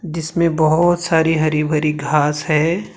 जिसमें बहोत सारी हरी भरी घास है।